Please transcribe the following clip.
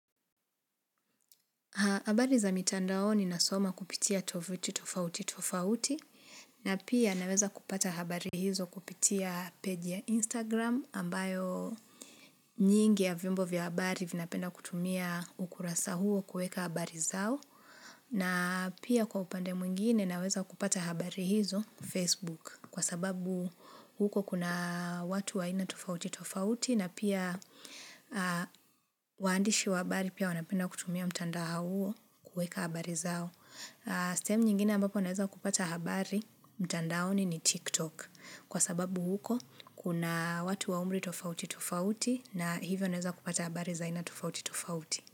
Habari za mitandao ninasoma kupitia tovuti tofauti tofauti na pia naweza kupata habari hizo kupitia page ya Instagram ambayo nyingi ya vyombo vya habari vinapenda kutumia ukurasa huo kuweka habari zao na pia kwa upande mwingine naweza kupata habari hizo Facebook kwa sababu huko kuna watu wa aina tofauti tofauti na pia waandishi wa habari pia wanapenda kutumia mtandao huo kuweka habari zao. Sehemu nyingine ambapo naeza kupata habari mtandaoni ni TikTok. Kwa sababu huko, kuna watu wa umri tofauti tofauti na hivyo naeza kupata habari za aina tofauti tofauti.